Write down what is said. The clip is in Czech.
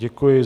Děkuji.